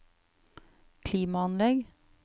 klimaanlegg